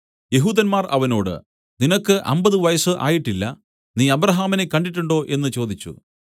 യെഹൂദന്മാർ അവനോട് നിനക്ക് അമ്പത് വയസ്സ് ആയിട്ടില്ല നീ അബ്രാഹാമിനെ കണ്ടിട്ടുണ്ടോ എന്നു ചോദിച്ചു